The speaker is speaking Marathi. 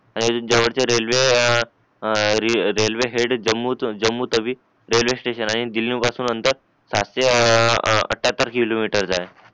आणि ज्या वरती रेल्वे ए ए railway head Jammu Jammu Tawi railway station ए तरी आणि दिल्ली पासून म्हणतात सहाशे आठ्ठयातर किलोमीटर जाईल